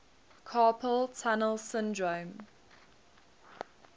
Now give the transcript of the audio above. carpal tunnel syndrome